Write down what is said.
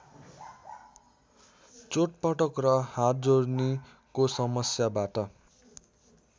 चोटपटक र हाडजोर्नीको समस्याबाट